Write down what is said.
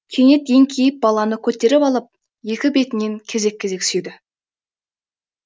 кенет еңкейіп баланы көтеріп алып екі бетінен кезек кезек сүйді